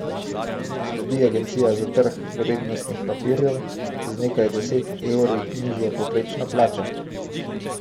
Sledi Agencija za trg vrednostnih papirjev, z nekaj deset evri nižjo povprečno plačo.